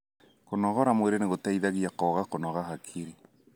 Kũnogora mwĩrĩ nĩ gũteithagia kwaga kũnoga hakiri.